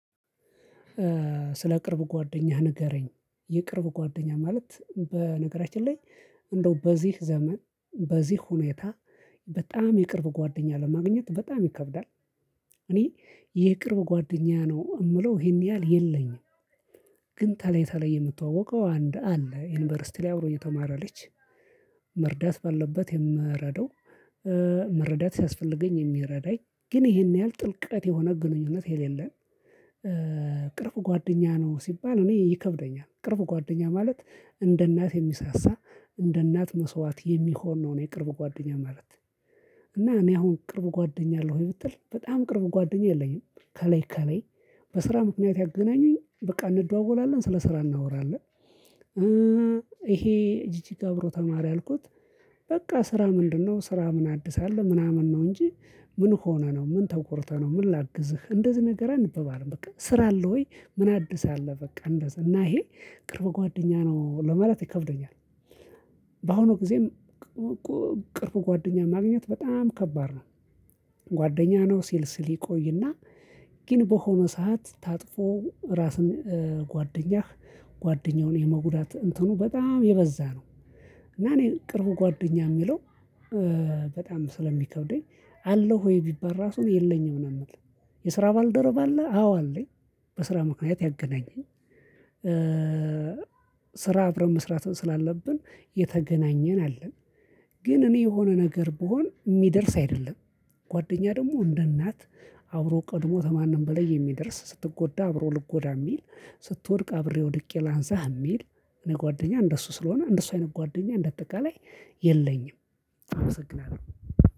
ስለ ቅርብ ጓደኛህ ንገረኝ የቅርብ ጓደኛ ማለት በነገራችን ላይ እንደው በዚህ ዘመን በዚህ ሁኔታ በጣም የቅርብ ጓደኛ ለማግኘት በጣም ይከብዳል። እኔ ይቅርብ ጓደኛ ነው የምለው ይሄን ያህል የለኝም። ግን ተለይ ተለይ የምታወቀው አንድ አለ ዩኒቨርሲቲ ላይ አብሮ እየተማረ ልጅ መርዳት ባለበት የምረደው። መረዳት ሲያስፈልገኝ የሚረዳኝ ግን ይሄን ያህል ጥልቀት የሆነ ግንኙነት የሌለን። ቅርብ ጓደኛ ነው ሲባል እኔ ይከብደኛል ቅርብ ጓደኛ ማለት እንደ እናት የሚሳሳ እንደ እናት መስዋዕት የሚሆን ነው የቅርብ ጓደኛ ማለት። እና እኔ አሁን ቅርብ ጓደኛ የለም ወይ ብትል በጣም ቅርብ ጓደኛ የለኝም። ከላይ ከላይ በስራ ምክንያት ያገናኙኝ በቃ እንደዋወላለን ስለ ስራ እናወራለን። ይሄ እጅግ ገብሮ ተማሪ አልኩት። በቃ ስራ ምንድነው? ስራ ምን አድሳለህ? ምናምን ነው እንጂ ምን ሆነህ ነው? ምን ተቆርተህ ነው? ምን ላግዝህ እንደዚህ ነገር አንበባም በቃ ስራ አለው። ወይ አደሰ አለ። በቃ እንደዛ እና ይሄ ቅርብ ጓደኛ ነው ለማለት ይከብደኛል። በአሁኑ ጊዜም ቅርብ ጓደኛ ማግኘት በጣም ከባድ ነው። ጓደኛ ነው ሲል ሲል ግን በሆነ ሰዓት ታጥፎ ራስን ጓደኛህ ጓደኛውን የመጉዳት እንትኑ በጣም የበዛ ነው። እና እኔ ቅርብ ጓደኛ የሚለው በጣም ስለሚከብደኝ አለው ወይ ቢባል ራሱ የለኝ ምናምን። የስራ ባልደረብ አለ አዎ አለኝ። በስራ ምክንያት ያገናኘን ስራ አብረን መስራት ስላለብን የተገናኘን አለን። ግን እኔ የሆነ ነገር ብሆን የሚደርስ አይደለም ጓደኛ ደግሞ እንደ እናት አብሮ ቀድሞት ማንም በላይ የሚደርስ ስትጎዳ አብሮ ልጎዳ የሚል ስትወድቅ አብሬ ወድቄ ላንሳህ የሚል እነ ጓደኛ እንደሱ ስለሆነ እንደሱ አይነት ጓደኛ እንደ አጠቃላይ የለኝም። አመሰግናለሁ